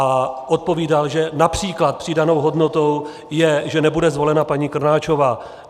A odpovídal, že například přidanou hodnotou je, že nebude zvolena paní Krnáčová.